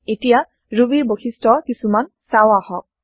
এতিয়া ৰুবীৰ বৈশিষ্ট কিছুমান চাও আহক